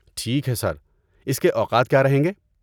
ٹھیک ہے سر، اس کے اوقات کیا رہیں گے؟